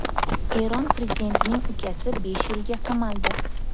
Eron prezidentining ukasi besh yilga qamaldi.